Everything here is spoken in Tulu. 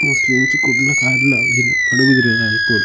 ಮೋಸ್ಟ್ಲಿ ಇಂಚಿ ಕುಡ್ಲ ಕಾರ್ಲ ಪಡುಬಿದ್ರೆ ಆದುಪ್ಪೊಡು.